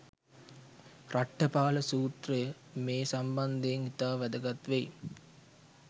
රට්ඨපාල සුත්‍රය මේ සම්බන්ධයෙන් ඉතා වැදගත් වෙයි.